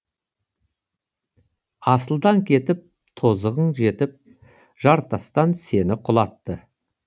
асылдан кетіп тозығың жетіп жартастан сені құлатты